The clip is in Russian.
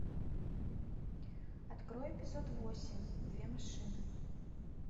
открой эпизод восемь две машины